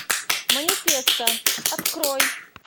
манифеста открой